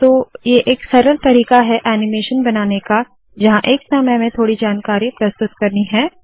तो ये एक सरल तरीका है ऐनीमेशन बनाने का जहाँ एक समय में थोड़ी जानकारी प्रस्तुत करनी है